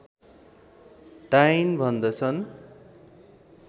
डाइन भन्दछन्